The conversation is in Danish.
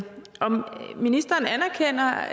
ministeren anerkender